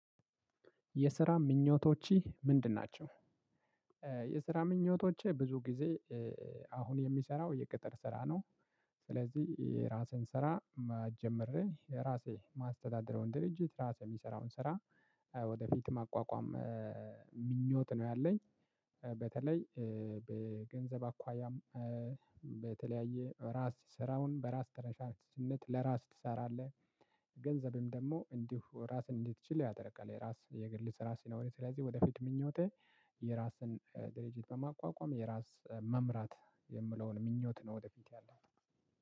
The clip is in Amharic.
የስራ ምኞቶችህ ምንድን ናቸው? የስራ ምኞቶቼ ብዙ ጊዜ አሁን የሚሰራው የቅጥር ስራ ነው። ስለዚህ የራሴን ስራ ጀምሬ ራሴ ማስተዳድረውን ድርጅት ራሴ የምሰራውን ስራ ወደፊት ማቋቋም ምኞት ነው ያለኝ። በተለይ በገንዘብ አኳያም በተለያየ ራስ ስራውን በራስ ተነሳሽነት ለራስህ ትሰራለህ። ገንዘብም ደግሞ እንዲሁ ራስን እንድትችል ያደርጋል። የራስ የግል ስራ ሲኖርህ ስለዚህ ወደፊት ምኞቴ የራስን ድርጅት በማቋቋም የራስ መምራት የምለውን ምኞት ነው። ወደፊት ያለው